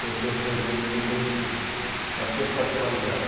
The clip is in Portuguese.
Conheci as regiões produtoras de fumo, com as suas particularidades.